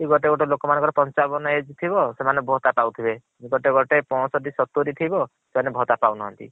ଗୋଟେ ଗୋଟେ ଲୋକଙ୍କର ପଞ୍ଚାବନ age ଥିବ ସେମାନେ ଭତା ପାଉଥିବେ ଗୋଟେ ଗୋଟେ ପଞ୍ଚଷଠି ସତୁରୀ ଥିବ ସେମାନେ ଭତ୍ତା ପାଉନାହାନ୍ତି